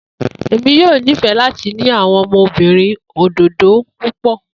Emi yoo nifẹ lati ni awọn ọmọbirin ododo pupọ.